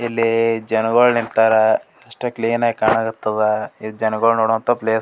ಇಲ್ಲಿ ಜನಗುಳ್ ನಿಂತರ್ ಅಷ್ಟೆ ಕ್ಲೀನ್ ಆಗಿ ಕಾಣಕತ್ತದ್ ಈ ಜನಗುಳ್ ನೋಡುವಂತ ಪ್ಲೇಸ್ .